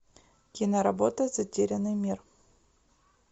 киноработа затерянный мир